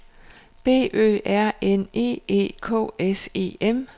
B Ø R N E E K S E M